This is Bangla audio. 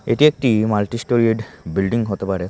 এটি একটি মাল্টি স্টোরেড বিল্ডিং হতে পারে।